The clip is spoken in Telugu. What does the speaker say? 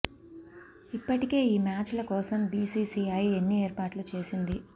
ఇప్పటికే ఈ మ్యాచ్ ల కోసం బిసిసిఐ అన్ని ఏర్పాట్లు చేసింది